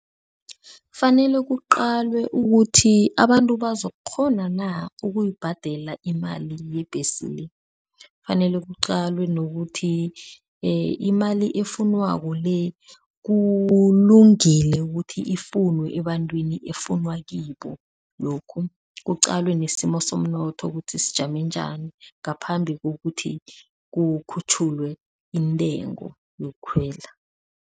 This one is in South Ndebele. Kufanele kuqalwe ukuthi abantu bazakukghona na ukuyibhadela imali yebhesi le. Kufanele kuqalwe nokuthi imali efunyanwako le kulungile ukuthi ifunwe ebantwini efunwa kibo lokhu, kuqalwe nesimo somnotho ukuthi sijame njani ngaphambi kokuthi kukhutjhulwe intengo yokukhwela.